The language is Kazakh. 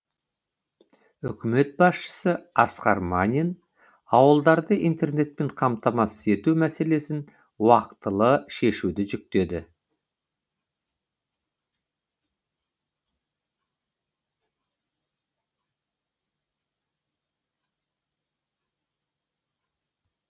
үкімет басшысы асқар мамин ауылдарды интернетпен қамтамасыз ету мәселесін уақтылы шешуді жүктеді